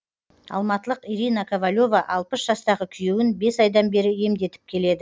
алматылық ирина ковалева алпыс жастағы күйеуін бес айдан бері емдетіп келеді